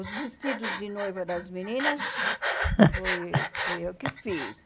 Os vestidos de noiva das meninas fui fui eu que fiz.